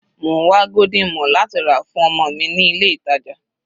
Mò ń wá golden morn láti rà fún ọmọ mi ní ilé ìtàjà.